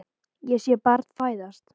Sé barn fæðast.